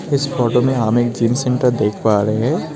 इस फोटो में हम एक जिम सेंटर देख पा रहे हैं।